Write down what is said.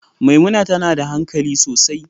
Maimuna tana da hankali sosai.